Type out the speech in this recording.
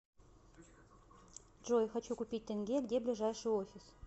джой хочу купить тенге где ближайший офис